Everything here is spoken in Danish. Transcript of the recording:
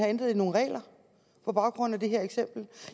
have ændret nogle regler på baggrund af det her eksempel